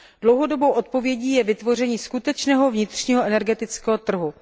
Dlouhodobou odpovědí je vytvoření skutečného vnitřního energetického trhu.